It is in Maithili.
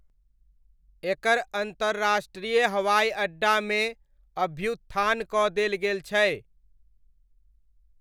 एकर अन्तर्राष्ट्रीय हवाइ अड्डामे अभ्युत्थान कऽ देल गेल छै।